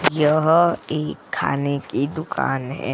यह एक खाने की दुकान है।